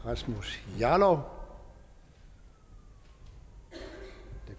rasmus jarlov det